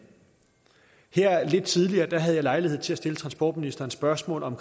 lidt tidligere her havde jeg lejlighed til at stille transportministeren spørgsmål om